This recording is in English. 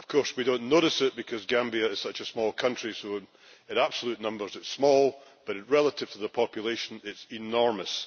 We do not notice it because Gambia is such a small country, and so in absolute numbers it is small, but relative to the population it is enormous.